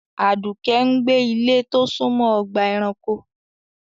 Aduke ń gbé ní ilé tó súnmọ́ ọgbà-ẹranko.